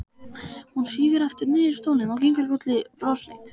Hún sígur aftur niður í stólinn og kinkar kolli brosleit.